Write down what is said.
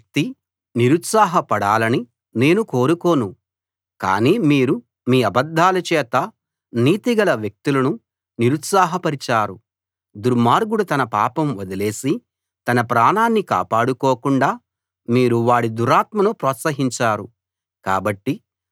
నీతిగల వ్యక్తి నిరుత్సాహపడాలని నేను కోరుకోను కానీ మీరు మీ అబద్దాల చేత నీతిగల వ్యక్తులను నిరుత్సాహపరిచారు దుర్మార్గుడు తన పాపం వదిలేసి తన ప్రాణాన్ని కాపాడుకోకుండా మీరు వాడి దుర్మార్గతను ప్రోత్సహించారు